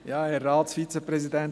Merken Sie es sich: